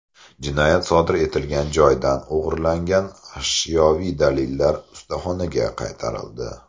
Jinoyat sodir etilgan joydan o‘g‘irlangan ashyoviy dalillar ustaxonaga qaytarildi.